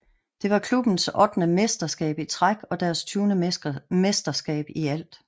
Det var klubbens ottende mesterskab i træk og deres tyvende mesterskab i alt